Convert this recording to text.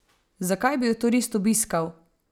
Zakaj bi jo turist obiskal?